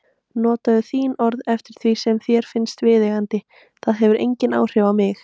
Notaðu þín orð eftir því sem þér finnst viðeigandi, það hefur engin áhrif á mig.